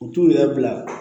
U t'u yɛrɛ bila